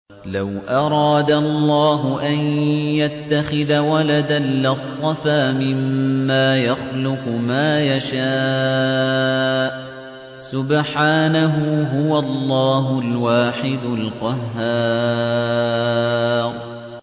لَّوْ أَرَادَ اللَّهُ أَن يَتَّخِذَ وَلَدًا لَّاصْطَفَىٰ مِمَّا يَخْلُقُ مَا يَشَاءُ ۚ سُبْحَانَهُ ۖ هُوَ اللَّهُ الْوَاحِدُ الْقَهَّارُ